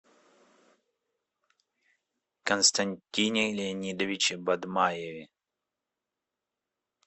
константине леонидовиче бадмаеве